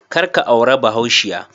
Kar ka aurar bahaushiya